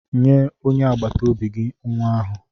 Nye onye agbata obi gị nwa ahụ.